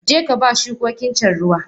Jeka ba shukokincan ruwa!